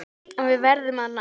En við verðum að ná